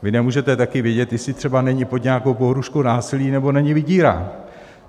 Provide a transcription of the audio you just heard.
Vy nemůžete také vědět, jestli třeba není pod nějakou pohrůžkou násilí nebo není vydírán.